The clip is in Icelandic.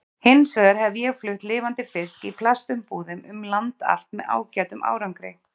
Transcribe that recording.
Hins vegar hef ég flutt lifandi fisk í plastumbúðum um land allt með ágætum árangri.